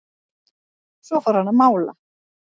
Svo fór hann að mála.